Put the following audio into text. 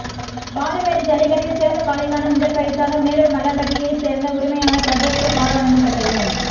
பாலமேடு ஜல்லிக்கட்டில் சிறந்த காளைக்கான முதல் பரிசாக மேலூர் மலம்பட்டியை சேர்ந்த உரிமையாளர் பிரபுவுக்கு கார் வழங்கப்பட்டது